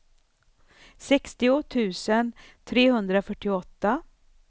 sextio tusen trehundrafyrtioåtta